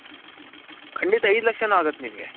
ಕಂಡಿತ ಏದು ಲಕ್ಷನು ಅಗುತೆ ನಿಂಗೆ.